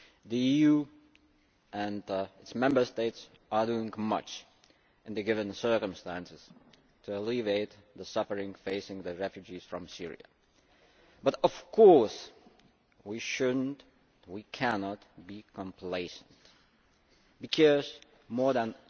The EU and its Member States are doing much in the given circumstances to alleviate the suffering facing the refugees from Syria, but of course we should not and cannot be complacent, because more than